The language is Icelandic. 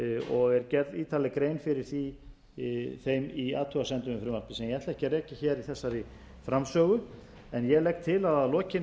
og er gerð ítarleg grein fyrir þeim í athugasemdum við frumvarpið sem ég ætla ekki að rekja hér í þessari framsögu ég legg til að að lokinni